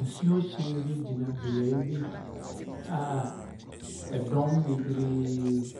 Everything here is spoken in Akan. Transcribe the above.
Nsuhyɛn bi gyina beaeɛ bi a dɔm bebree